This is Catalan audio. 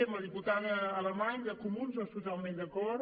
amb la diputada alamany dels comuns doncs totalment d’acord